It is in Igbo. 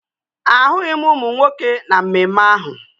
Ahụghị m ụmụ nwoke na mmemme ahụ